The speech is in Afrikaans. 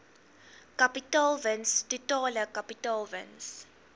kapitaalwins totale kapitaalwins